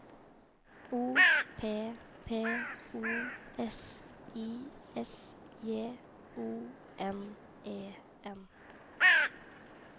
O P P O S I S J O N E N